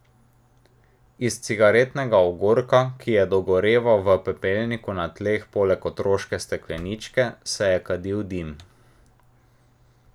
Iz cigaretnega ogorka, ki je dogoreval v pepelniku na tleh poleg otroške stekleničke, se je kadil dim.